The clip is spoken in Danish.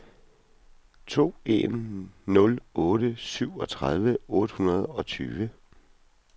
to en nul otte syvogtredive otte hundrede og tyve